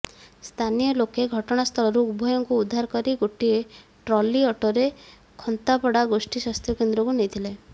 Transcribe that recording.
ସ୍ଥାନୀୟ ଲୋକେ ଘଟଣାସ୍ଥଳରୁ ଉଭୟଙ୍କୁ ଉଦ୍ଧାର କରି ଗୋଟାଏ ଟ୍ରଲି ଅଟୋରେ ଖନ୍ତାପଡ଼ା ଗୋଷ୍ଠୀ ସ୍ୱାସ୍ଥ୍ୟ କେନ୍ଦ୍ରକୁ ନେଇଥିଲେ